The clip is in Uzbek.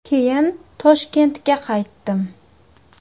Keyin Toshkentga qaytdim.